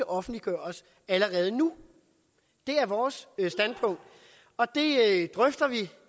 offentliggøres allerede nu det er vores standpunkt og det drøfter vi